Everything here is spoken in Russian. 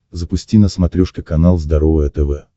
запусти на смотрешке канал здоровое тв